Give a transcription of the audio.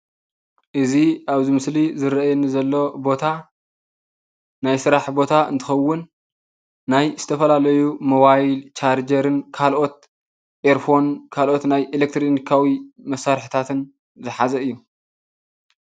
እዚ አብዚ ምስሊ ዝርአየኒ ዘሎ ቦታ ናይ ስራሕ ቦታ እንትኸውን፤ ናይ ዝተፈላለዩ ሞባይል፣ ቻርጀርን ካልኦት ኤርፎን፣ ካልኦት ናይ ኤሌክትሪካዊ መሳርሒታትን ዝሓዘ እዩ፡፡